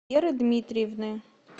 веры дмитриевны